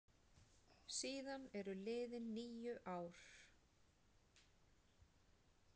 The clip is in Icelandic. Síðan eru liðin níu ár.